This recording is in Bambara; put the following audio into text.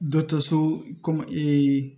Dɔ so kɔmi